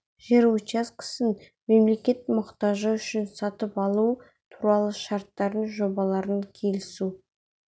жер учаскесін мемлекет мұқтажы үшін сатып алу туралы шарттардың жобаларын келісу